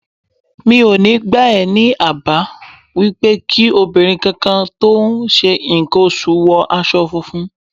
Mi ò ní gbà á ní àbá wípé kí obìnrin kankan tí ó ń ṣe ǹkan oṣù wọ aṣọ funfun.